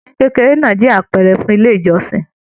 Ìdílé kékeré náà jẹ àpẹẹrẹ rere fún ilé ìjọsìn.